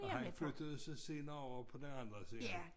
Og han flyttede så senere over på den anden side